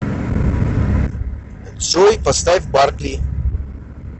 джой поставь баркли